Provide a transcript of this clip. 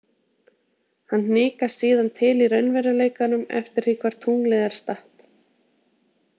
Hann hnikast síðan til í raunveruleikanum eftir því hvar tunglið er statt.